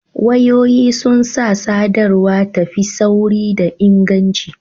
Wayoyi sun sa sadarwa ta fi sauri da inganci